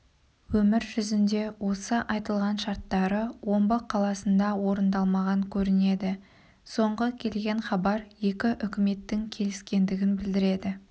өмір жүзінде осы айтылған шарттары омбы қаласында орындалмаған көрінеді соңғы келген хабар екі үкіметтің келіскендігін білдіреді